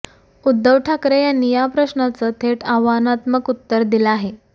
उद्धव ठाकरे यांनी या प्रश्नाचं थेट आव्हानात्मक उत्तर दिल आहे